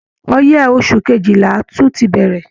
Ọyẹ́ oṣù kejìlà tún ti bẹ̀rẹ̀